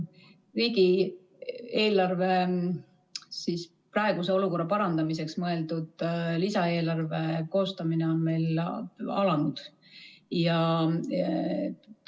Riigieelarve praeguse olukorra parandamiseks mõeldud lisaeelarve koostamine on meil alanud.